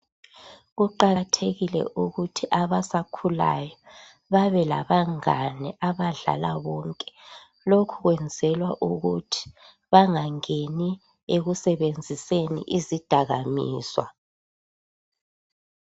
Kuqakathekile ukuthi abasakhulayo babelabangane abadlala bonke. Lokhu kwenzelwa ukuthi bangangeni ekusebenziseni izidakamizwa.